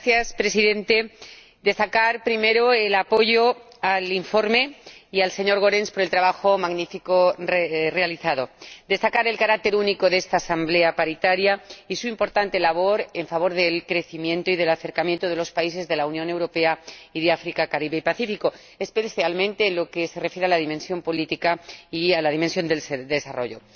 Señor Presidente, quiero destacar primero el apoyo al informe y al señor Goerens por el magnífico trabajo realizado. Quiero destacar el carácter único de esta Asamblea Paritaria y su importante labor en favor del crecimiento y del acercamiento de los países de la Unión Europea y de África, el Caribe y el Pacífico, especialmente en lo que se refiere a la dimensión política y a la dimensión del desarrollo.